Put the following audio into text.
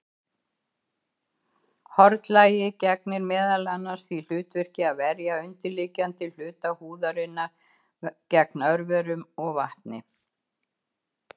Hornlagið gegnir meðal annars því hlutverki að verja undirliggjandi hluta húðarinnar gegn örverum og vatni.